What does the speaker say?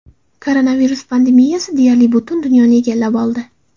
Koronavirus pandemiyasi deyarli butun dunyoni egallab oldi.